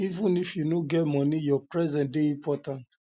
even if you no get moni your presence dey important